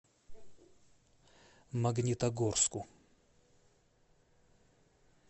магнитогорску